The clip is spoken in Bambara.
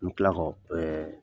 N mi kila k'ɔ